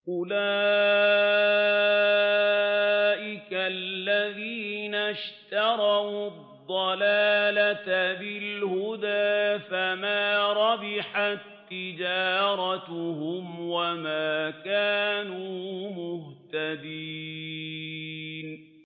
أُولَٰئِكَ الَّذِينَ اشْتَرَوُا الضَّلَالَةَ بِالْهُدَىٰ فَمَا رَبِحَت تِّجَارَتُهُمْ وَمَا كَانُوا مُهْتَدِينَ